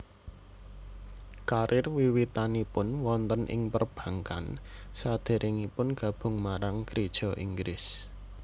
Karir wiwitanipun wonten ing perbankan sadèrèngipun gabung marang Geréja Inggris